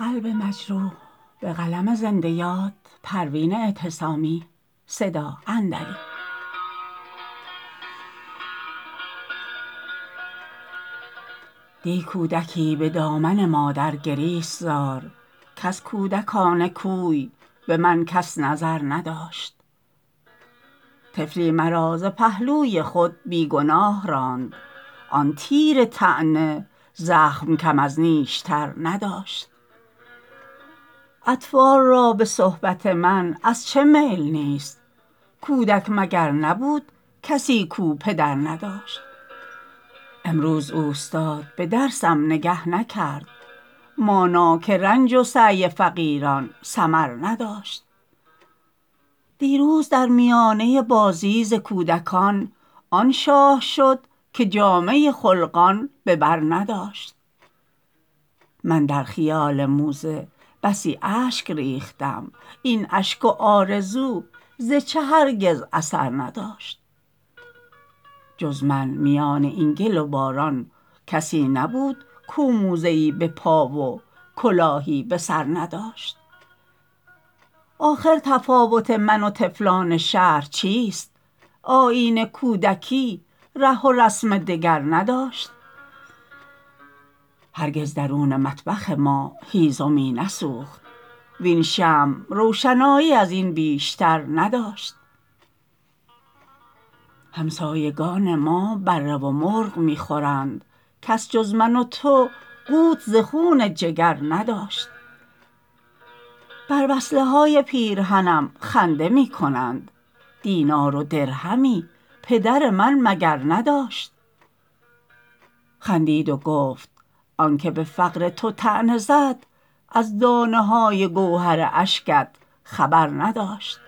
دی کودکی بدامن مادر گریست زار کز کودکان کوی به من کس نظر نداشت طفلی مرا ز پهلوی خود بیگناه راند آن تیر طعنه زخم کم از نیشتر نداشت اطفال را به صحبت من از چه میل نیست کودک مگر نبود کسی کو پدر نداشت امروز اوستاد به درسم نگه نکرد مانا که رنج و سعی فقیران ثمر نداشت دیروز در میانه بازی ز کودکان آن شاه شد که جامه خلقان به بر نداشت من در خیال موزه بسی اشک ریختم این اشک و آرزو ز چه هرگز اثر نداشت جز من میان این گل و باران کسی نبود کو موزه ای بپا و کلاهی بسر نداشت آخر تفاوت من و طفلان شهر چیست آیین کودکی ره و رسم دگر نداشت هرگز درون مطبخ ما هیزمی نسوخت وین شمع روشنایی ازین بیشتر نداشت همسایگان ما بره و مرغ میخورند کس جز من و تو قوت ز خون جگر نداشت بر وصله های پیرهنم خنده می کنند دینار و درهمی پدر من مگر نداشت خندید و گفت آنکه به فقر تو طعنه زد از دانه های گوهر اشکت خبر نداشت